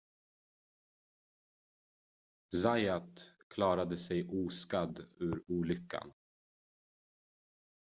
zayat klarade sig oskadd ur olyckan